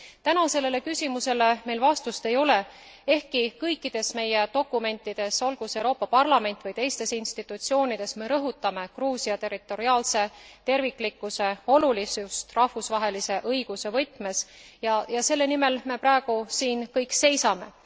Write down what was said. Täna sellele küsimusele meil vastust ei ole, ehkki kõikides meie dokumentides, olgu see Euroopa Parlamendis või teistes institutsioonides, me rõhutame Gruusia territoriaalse terviklikkuse olulisust rahvusvahelise õiguse võtmes ja selle nimel me praegu siin kõik seisame.